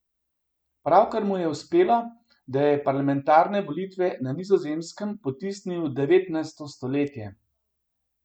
Pravkar mu je uspelo, da je parlamentarne volitve na Nizozemskem potisnil v devetnajsto stoletje.